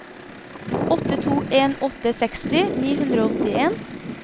åtte to en åtte seksti ni hundre og åttien